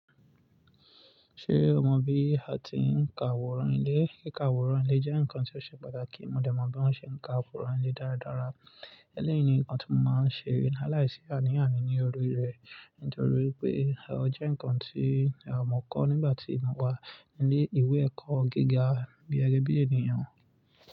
Ṣé o mọ bí a ti ń ka àwòrán ilé? Kí ka àwòrán ilé jẹ́ nǹkan tí ó ṣe pàtàkì. Mo dẹ̀ mọ̀ bí wọ́n ṣe ń ka àwòrán ilé dáradára. Éléyìi ni nǹkan tí mo máa ń ṣè láìlaisí àní àní ní orí rẹ̀ nítorí pé ó jẹ́ nǹkan tí mọ̀ kọ́ nígbà tí mo wà ní ìwé ẹ̀kọ́ gíga gegẹ́ bí ènìyàn.